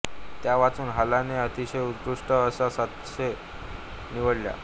त्या वाचून हालाने त्यातील उत्कृष्ट अशा सातशे निवडल्या